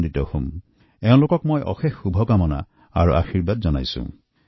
এই কন্যাসকলৰ প্ৰতি মোৰ বহুত বহুত শুভেচ্ছা অশেষ আশীৰ্বাদ আছে